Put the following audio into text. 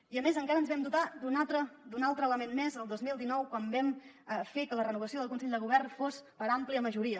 i a més encara ens vam dotar d’un altre element més el dos mil dinou quan vam fer que la renovació del consell de govern fos per àmplia majoria